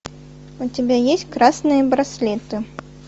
у тебя есть красные браслеты